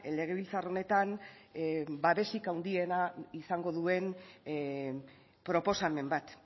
legebiltzar honetan babesik handiena izango duen proposamen bat